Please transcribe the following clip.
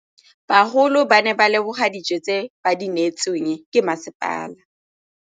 Bagolo ba ne ba leboga dijô tse ba do neêtswe ke masepala.